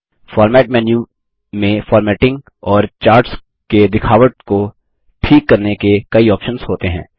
format menu में formatting और charts के दिखावट को ठीक करने के कई ऑप्शन्स होते हैं